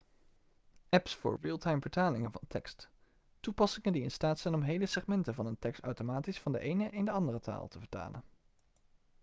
apps voor realtimevertalingen van tekst toepassingen die in staat zijn om hele segmenten van een tekst automatisch van de ene in de andere taal te vertalen